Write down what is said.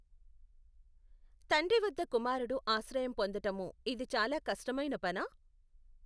తండ్రి వద్ద కుమారుడు ఆశ్రయము పొందటము ఇది చాలా కష్టమైన పనా?